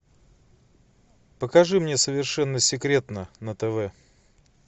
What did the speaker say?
покажи мне совершенно секретно на тв